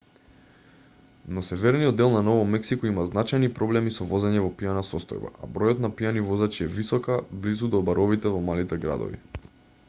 но северниот дел на ново мексико има значајни проблеми со возење во пијана состојба а бројот на пијани возачи е висока близу до баровите во малите градови